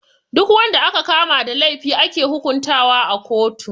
Duk wanda aka kama da laifi ake hukuntawa a kotu.